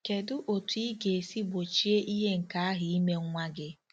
Kedu otú ị ga-esi gbochie ihe nke ahụ ime nwa gị?